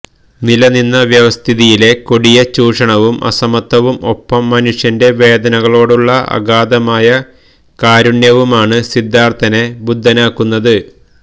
നിലനിന്ന വ്യവസ്ഥിതിയിലെ കൊടിയ ചൂഷണവും അസമത്വവും ഒപ്പം മനുഷ്യന്റെ വേദനകളോടുള്ള അഗാധമായ കാരുണ്യവുമാണ് സിദ്ധാര്ത്ഥനെ ബുദ്ധനാക്കുന്നത്